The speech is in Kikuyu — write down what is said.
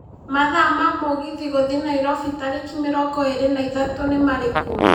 mathaa ma mũgithi gũthiĩ nairobi tarĩki mĩrongo ĩri na ithatũ nĩ marikũ